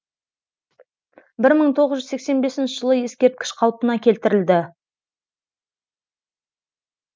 бір мың тоғыз жүз сексен бесінші жылы ескерткіш қалпына келтірілді